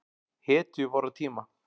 Hetju vorra tíma.